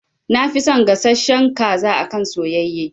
Na fi son gasashshen kaza akan soyayye